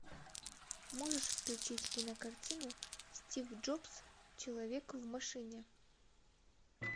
можешь включить кинокартину стив джобс человек в машине